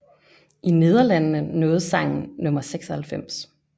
I Nederlandene nåede sangen nummer 96